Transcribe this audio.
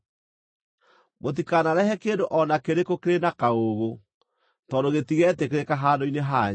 Mũtikanarehe kĩndũ o na kĩrĩkũ kĩrĩ na kaũũgũ, tondũ gĩtigeetĩkĩrĩka handũ-inĩ hanyu.